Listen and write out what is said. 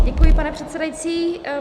Děkuji, pane předsedající.